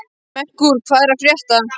Merkúr, hvað er að frétta?